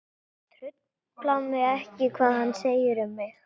Það truflar mig ekki mikið hvað hann segir um mig.